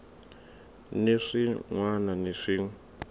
ni swin wana ni swin